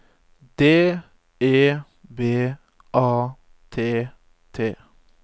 D E B A T T